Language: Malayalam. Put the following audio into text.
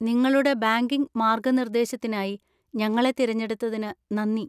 നിങ്ങളുടെ ബാങ്കിംഗ് മാർഗ്ഗനിർദ്ദേശത്തിനായി ഞങ്ങളെ തിരഞ്ഞെടുത്തതിന് നന്ദി.